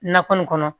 Nakɔ nin kɔnɔ